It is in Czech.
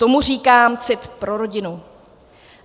Tomu říkám cit pro rodinu!